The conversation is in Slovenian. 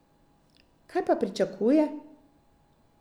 Kaj pa pričakuje?